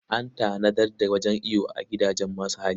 An tanadar da wajen iyo a gidajen masu hali.